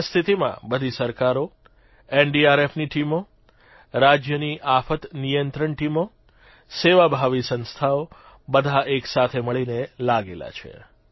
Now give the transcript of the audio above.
એ સ્થિતિમાં બધી સરકારો એનડીઆરએફની ટીમો રાજયની આફત નિયંત્રણ ટીમો સેવાભાવી સંસ્થાઓ બધા એકસાથે મળીને લાગેલા છે